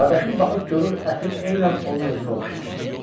Qardaşım baxıb görür əsir eynən onun özünə oxşayır.